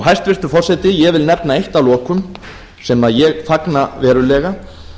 hæstvirtur forseti ég vil nefna eitt að lokum sem ég fagna verulega